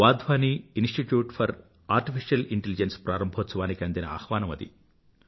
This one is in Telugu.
Wadhwani institute for artificial intelligence ప్రారంభోత్సవానికి అందిన ఆహ్వానం అది